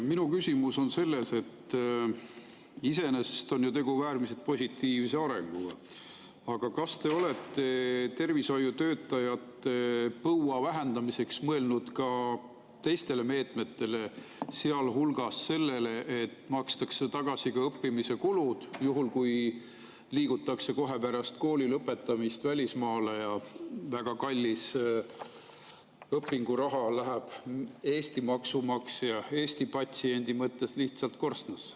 Minu küsimus on selles, et iseenesest on ju tegu äärmiselt positiivse arenguga, aga kas te olete tervishoiutöötajate põua vähendamiseks mõelnud ka teistele meetmetele, sealhulgas sellele, et makstaks tagasi õppimise kulud, juhul kui kohe pärast kooli lõpetamist liigutakse välismaale ja väga kallis õpinguraha läheb Eesti maksumaksja, Eesti patsiendi mõttes lihtsalt korstnasse.